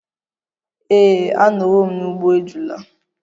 Ee, anọwo m n'ugbo ejula.